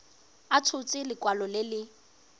a tshotse lekwalo le le